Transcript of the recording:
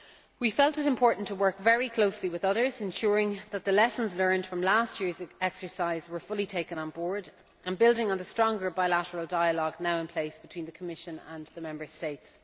We felt it important to work very closely with others, ensuring that the lessons learned from last year's exercise were fully taken on board, and building on the stronger bilateral dialogue now in place between the Commission and the Member States.